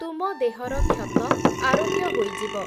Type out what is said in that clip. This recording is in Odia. ତୁମ ଦେହର କ୍ଷତ, ଆରୋଗ୍ୟ ହୋଇଯିବ ।